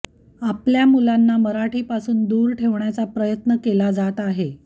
आपल्या मुलांना मराठीपासून दूर ठेवण्याचा प्रयत्न केला जात आहे